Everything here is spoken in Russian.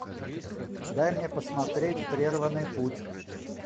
дай мне посмотреть прерванный путь